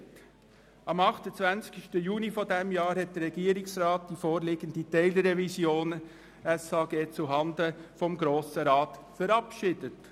Am 28. Juni 2017 hat der Regierungsrat die vorliegende Teilrevision zuhanden des Grossen Rats verabschiedet.